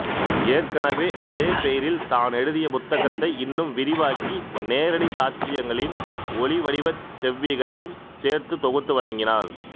ஏற்கெனவே அதேபெயரில் தானெழுதிய புத்தகத்தை இன்னும் விரிவாக்கி நேரடி சாட்சியங்களின் ஒலிவடிவச் செவ்விகளையும் சேர்த்துத் தொகுத்து வழங்கினார்